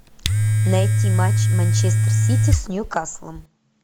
найти матч манчестер сити с ньюкаслом